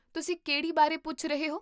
ਤੁਸੀਂ ਕਿਹੜੀ ਬਾਰੇ ਪੁੱਛ ਰਹੇ ਹੋ?